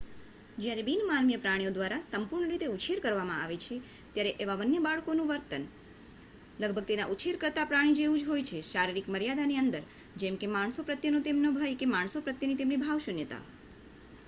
જ્યારે બિન-માનવીય પ્રાણીઓ દ્વારા સંપૂર્ણ રીતે ઉછેર કરવામાં આવે છે ત્યારે એવા વન્ય બાળકનું વર્તન લગભગ તેના ઉછેરકર્તા પ્રાણી જેવું જ હોય છે શારીરિક મર્યાદાની અંદર જેમકે માણસો પ્રત્યેનો તેમનો ભય કે માણસો પ્રત્યેની તમેની ભાવશૂન્યતા